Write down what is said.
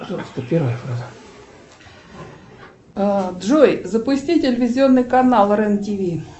джой запусти телевизионный канал рен тв